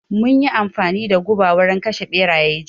Mun yi amfani da guba wurin kashe ɓeraye jiya